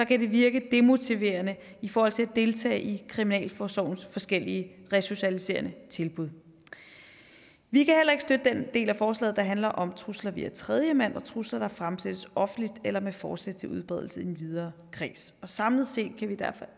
kan det virke demotiverende i forhold til at deltage i kriminalforsorgens forskellige resocialiserende tilbud vi kan heller ikke støtte den del af forslaget der handler om trusler via tredjemand og trusler der fremsættes offentligt eller med forsæt til udbredelse i en videre kreds samlet set